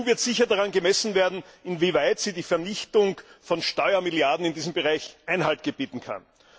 Die EU wird sicher daran gemessen werden, inwieweit sie der Vernichtung von Steuermilliarden in diesem Bereich Einhalt gebieten kann.